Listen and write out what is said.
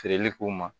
Feereli k'u ma